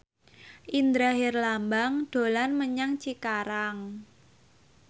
Indra Herlambang dolan menyang Cikarang